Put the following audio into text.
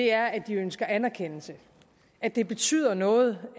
er at de ønsker anerkendelse at det betyder noget